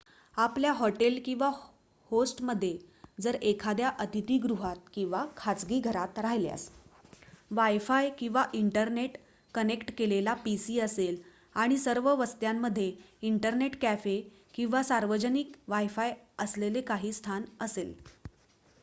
आपल्या हॉटेल किंवा होस्टमध्ये जर एखाद्या अतिथीगृहात किंवा खाजगी घरात राहिल्यास wifi किंवा इंटरनेट कनेक्ट केलेला pc असेल आणि सर्व वस्त्यांमध्ये इंटरनेट कॅफे किंवा सार्वजनिक wifi असलेले काही स्थान असेल